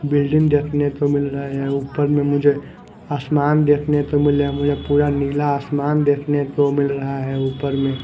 building देखने को मिल रहा है ऊपर में मुझे आसमान देखने को मिल रहा है मुझे पूरा नीला आसमान देखने को मिल रहा है ऊपर में --